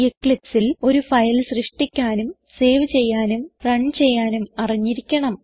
Eclipseൽ ഒരു ഫയൽ സൃഷ്ടിക്കാനും സേവ് ചെയ്യാനും റൺ ചെയ്യാനും അറിഞ്ഞിരിക്കണം